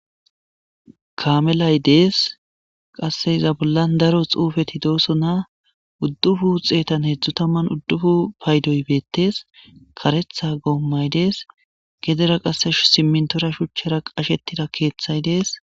Kamellay deess qase iza.bolla daro xuufetti dossonna uuduppun xeeta hedzdzu xeetan udupun payddoy payddoy beettes kareththa goomay dees gedera qase siminttora shuuchchara qashettida keththay dees